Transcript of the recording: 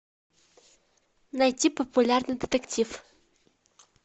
найти популярный детектив